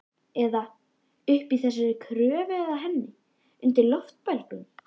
Eða uppi í þessari körfu með henni. undir loftbelgnum.